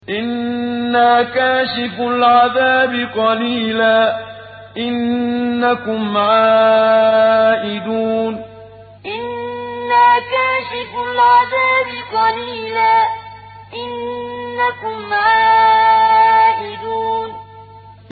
إِنَّا كَاشِفُو الْعَذَابِ قَلِيلًا ۚ إِنَّكُمْ عَائِدُونَ إِنَّا كَاشِفُو الْعَذَابِ قَلِيلًا ۚ إِنَّكُمْ عَائِدُونَ